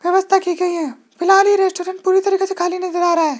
व्यवस्था की गई है फिलहाल यह रेस्टोरेंट पूरी तरीके से खाली नजर आ रहा है।